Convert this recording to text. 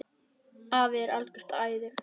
Afi er algert æði.